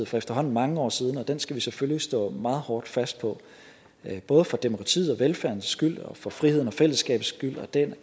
for efterhånden mange år siden og den skal vi selvfølgelig stå meget hårdt fast på både for demokratiets og velfærdens skyld og for frihedens og fællesskabets skyld og den